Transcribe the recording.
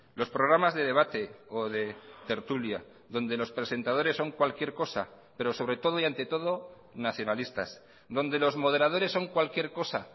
los programas de debate o de tertulia donde los presentadores son cualquier cosa pero sobre todo y ante todo nacionalistas donde los moderadores son cualquier cosa